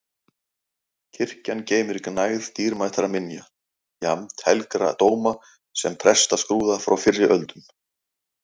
Kirkjan geymir gnægð dýrmætra minja, jafnt helgra dóma sem prestaskrúða frá fyrri öldum.